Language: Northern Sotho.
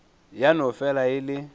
ya no fela e le